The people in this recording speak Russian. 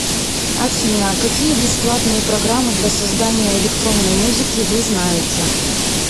афина какие бесплатные программы для создания электронной музыки вы знаете